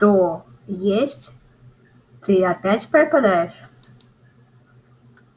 то есть ты опять пропадёшь